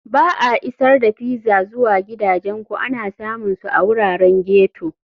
Ba a Isar da Pizza zuwa Gidajenku ana samun su a wuraren ghetto.